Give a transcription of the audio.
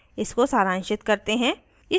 इसको सारांशित करते हैं